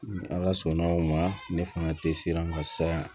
Ni ala sɔnna o ma ne fanga tɛ siran ka saya